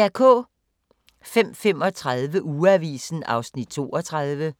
05:35: Ugeavisen (32:52)